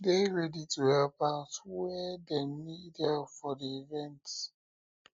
de ready to help out where dem need help for di event